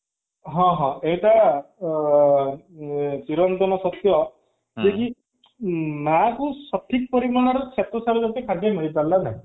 ହଁ ହଁ ଏଇଟା ତୁରନ୍ତ ଅ ଊ ସେଇ ମା କୁ ସଠିକ ପରିମାଣର ସ୍ବତସାର ଜାତୀୟ ଖାଦ୍ୟ ମିଳିପାରୁନି ନା କଣ